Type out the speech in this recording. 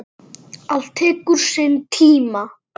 Allt tekur sinn tíma.